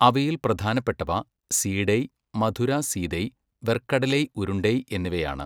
അവയിൽ പ്രധാനപ്പെട്ടവ സീടൈ, മധുര സീതൈ, വെർക്കടലൈ ഉരുണ്ടൈ എന്നിവയാണ്.